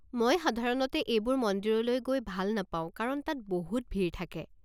মই সাধাৰণতে এইবোৰ মন্দিৰলৈ গৈ ভাল নাপাওঁ কাৰণ তাত বহুত ভিৰ থাকে।